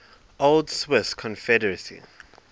old swiss confederacy